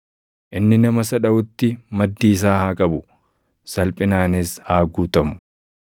Inni nama isa dhaʼutti maddii isaa haa qabu; salphinaanis haa guutamu.